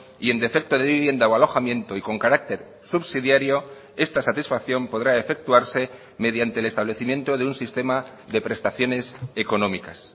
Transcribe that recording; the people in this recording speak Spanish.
y en defecto de vivienda o alojamiento y con carácter subsidiario esta satisfacción podrá efectuarse mediante el establecimiento de un sistema de prestaciones económicas